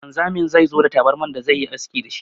Wanzamin zai zo da tabarman da zai yi aski da shi.